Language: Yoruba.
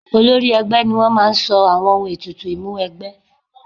Olórí ẹgbẹ́ ni wọ́n máa sọ àwọn ohun ètùtù Ìmúwẹgbẹ́